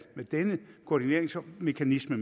med denne koordineringsmekanisme